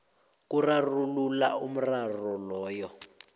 kurarulula umraro loyo